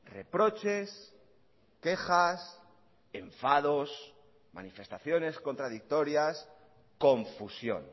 reproches quejas enfados manifestaciones contradictorias confusión